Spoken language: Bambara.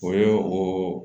O ye o